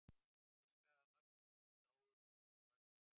Vissulega hafa mörg tungumál dáið út í heiminum og mörg eru í hættu.